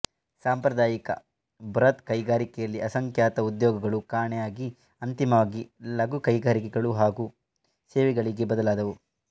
ಸಾಂಪ್ರದಾಯಿಕ ಬೃಹತ್ಕೈಗಾರಿಕೆಯಲ್ಲಿ ಅಸಂಖ್ಯಾತ ಉದ್ಯೋಗಗಳು ಕಾಣೆಯಾಗಿ ಅಂತಿಮವಾಗಿ ಲಘು ಕೈಗಾರಿಕೆಗಳು ಹಾಗು ಸೇವೆಗಳಿಗೆ ಬದಲಾದವು